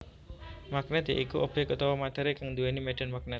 Magnèt ya iku obyek utawa matéri kang nduwéni médhan magnèt